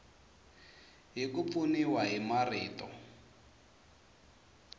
hi ku pfuniwa hi marito